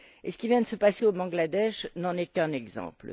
Ce qui vient de se passer au Bangladesh n'en est qu'un exemple.